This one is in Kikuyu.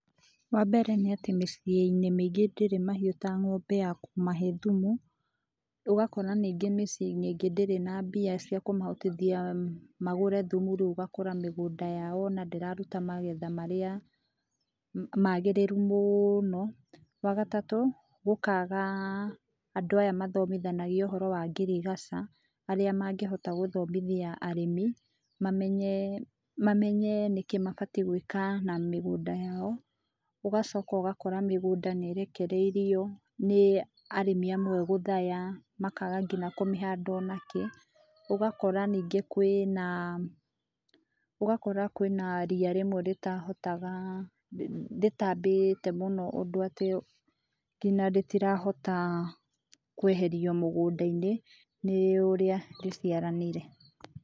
Wambere nĩ atĩ mĩciĩ-inĩ mĩingĩ ndĩrĩ mahiũ ta ng'ombe ya kũmahe thumu, ũgakora ningĩ mĩciĩ-inĩ ĩngĩ ndĩrĩ na mbia cia kũmahotithia magũre thumu rĩu ũgakora mĩgũnda yao ona ndĩraruta magetha marĩa magĩrĩru mũũno. Wagatatũ, gũkaga andũ aya mathomithanagia ũhoro wa ngirigaca arĩa mangĩhota gũthomithia arĩmi mamenyee mamenyee nĩkĩĩ mabatie gwĩka na mĩgũnda yao. Ũgacoka ũgakora mĩgũnda niĩrekereirio nĩ arĩmi amwe gũthaya makaga nginya kũmĩhanda o nakĩ, ũgakora nĩngĩ kwĩnaa, ũgakora kwĩna riya rĩmwe rĩtahotagaa rĩtaambĩte mũno ũndũ atĩ nginya rĩtirahota kweherio mũgũnda-inĩ nĩ ũrĩa rĩciaranĩire.